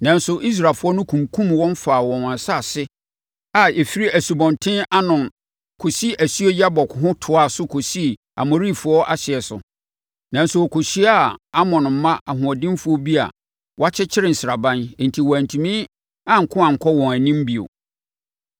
Nanso Israelfoɔ no kunkumm wɔn faa wɔn asase a ɛfiri Asubɔnten Arnon kɔsi asuo Yabok ho toaa so kɔsii Amorifoɔ ahyeɛ so, nanso wɔkɔhyiaa Amon mma ahoɔdenfoɔ bi a wɔakyere sraban enti wɔantumi anko ankɔ wɔn anim bio.